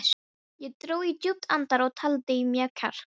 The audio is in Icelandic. Ég dró djúpt andann og taldi í mig kjark.